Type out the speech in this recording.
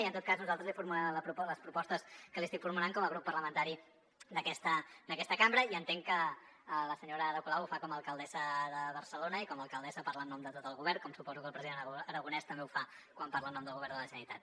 i en tot cas nosaltres li formulem les propostes que li estic formulant com a grup parlamentari d’aquesta cambra i entenc que la senyora ada colau ho fa com a alcaldessa de barcelona i com a alcaldessa parla en nom de tot el govern com suposo que el president aragonès també ho fa quan parla en nom del govern de la generalitat